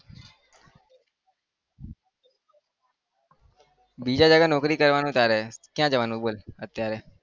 બીજા જગ્યા નોકરી કરવાનું તારે. કયા જવાનું બોલ અત્યારે?